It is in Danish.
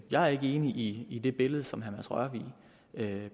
jeg er ikke enig i det billede som herre mads rørvig